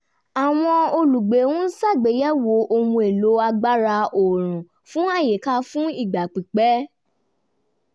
àwọn olùgbé ń ṣàgbéyẹ̀wò ohun èlò agbára oòrùn fún àyíká fún ìgbà pípẹ̀